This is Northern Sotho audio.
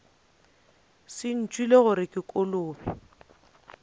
se ntšwele gore ke kolobe